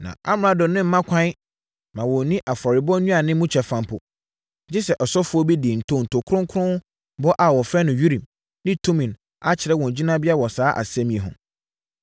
Na amrado no mma ɛkwan mma wɔnnni afɔrebɔ nnuane mu kyɛfa mpo, gye sɛ ɔsɔfoɔ bi de ntonto kronkron bɔ a wɔfrɛ no Urim ne Tumim akyerɛ wɔn gyinabea wɔ saa asɛm yi ho.